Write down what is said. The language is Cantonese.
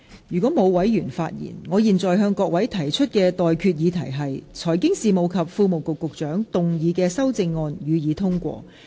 如果沒有，我現在向各位提出的待決議題是：財經事務及庫務局局長動議的修正案，予以通過。